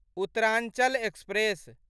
Uttaranchal express